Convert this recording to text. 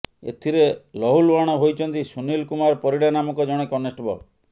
ଏଥିରେ ଲହୁଲୁହାଣ ହୋଇଛନ୍ତି ସୁନିଲ କୁମାର ପରିଡା ନାମକ ଜଣେ କନେଷ୍ଟବଳ